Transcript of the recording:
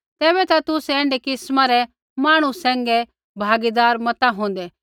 तेबैता तुसै ऐण्ढै किस्मा रै मांहणु सैंघै भागीदार मता होंदै